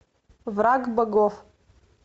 враг богов